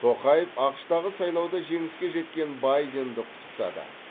тоқаев ақш тағы сайлауда жеңіске жеткен байденді құттықтады